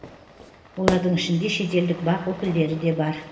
олардың ішінде шетелдік бақ өкілдері де бар